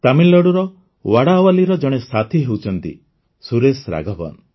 ତାମିଲନାଡ଼ୁର ୱାଡାୱଲ୍ଲୀର ଜଣେ ସାଥୀ ହେଉଛନ୍ତି ସୁରେଶ ରାଘବନ୍